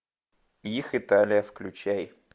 их италия включай